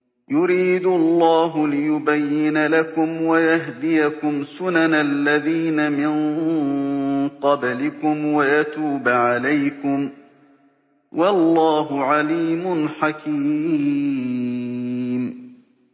يُرِيدُ اللَّهُ لِيُبَيِّنَ لَكُمْ وَيَهْدِيَكُمْ سُنَنَ الَّذِينَ مِن قَبْلِكُمْ وَيَتُوبَ عَلَيْكُمْ ۗ وَاللَّهُ عَلِيمٌ حَكِيمٌ